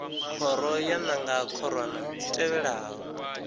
khoro yo nanga khorwana dzi tevhelaho